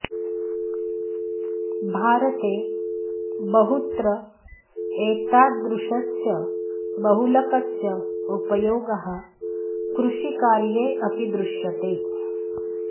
भारते बहुत्र एतादृशस्य बहुलकस्य उपयोगः कृषिकार्ये अपि दृश्यते